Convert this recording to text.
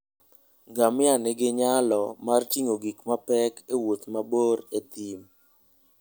Ngamia nigi nyalo mar ting'o gik mapek e wuoth mabor e thim.